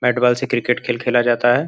Bat ball से cricket खेल खेला जाता है।